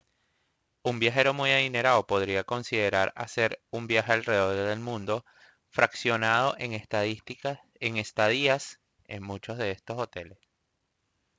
un viajero muy adinerado podría considerar hacer un viaje alrededor del mundo fraccionado en estadías en muchos de estos hoteles